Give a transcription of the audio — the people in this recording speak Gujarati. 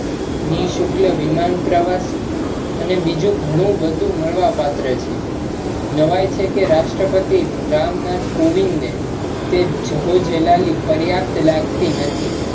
નિશુલ્ક વિમાન પ્રવાસ ને બીજુ ઘણુ બધુ મલવા પાત્રે છે, નવાઈ છે કે રાષ્ટ્રપતિ રામનાથ કોવિંદ ને તે જહો જલાલી પર્યાપ્ત લાગતી નથી